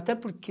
Até porque...